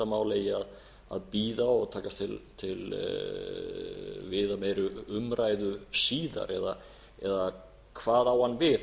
mál eigi að bíða og taka til viðameiri umræðu síðar eða hvað á hann við